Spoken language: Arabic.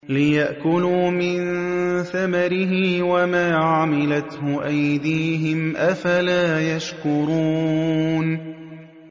لِيَأْكُلُوا مِن ثَمَرِهِ وَمَا عَمِلَتْهُ أَيْدِيهِمْ ۖ أَفَلَا يَشْكُرُونَ